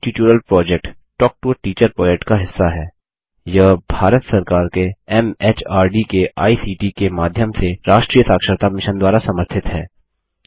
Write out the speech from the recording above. spoken tutorial project talk to a teacher project का हिस्सा हैयह भारत सरकार के एमएचआरडी के आईसीटी के माध्यम से राष्ट्रीय साक्षरता मिशन द्वारा समर्थित है